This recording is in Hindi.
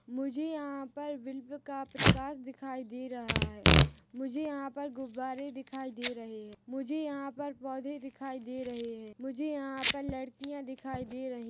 मुझे यहाँ पर विल्प का प्रकाश दिखाई दे रहा है मुझे यहाँ पर गुब्बारे दिखाई दे रहे है मुझे यहाँ पर पौधे दिखाई दे रहे है मुझे यहाँ पर लड़कियाँ दिखाई दे रही--